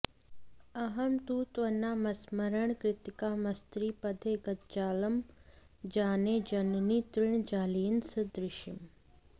अहं तु त्वन्नामस्मरणकृतकामस्त्रिपथगे जगज्जालं जाने जननि तृणजालेन सदृशम्